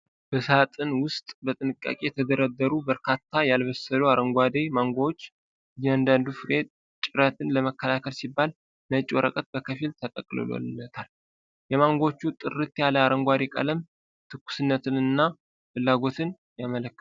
በሳጥን ውስጥ በጥንቃቄ የተደረደሩ በርካታ ያልበሰሉ አረንጓዴ ማንጎዎች፣ እያንዳንዱ ፍሬ ጭረትን ለመከላከል ሲባል ነጭ ወረቀት በከፊል ተጠቅልሎለታል። የማንጎዎቹ ጥርት ያለ አረንጓዴ ቀለም ትኩስነትን እና ፍላጎትን ያመለክታል።